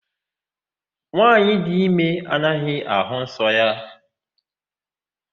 Nwaanyị dị ime anaghị àhụ́ nsọ ya.